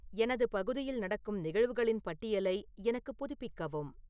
எனது பகுதியில் நடக்கும் நிகழ்வுகளின் பட்டியலை எனக்குப் புதுப்பிக்கவும்